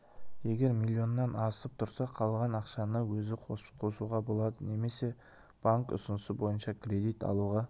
егер милионнан асып тұрса қалған ақшаны өзі қосуға болады немесе банк ұсынысы бойынша кредит алуға